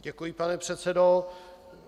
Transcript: Děkuji, pane předsedo.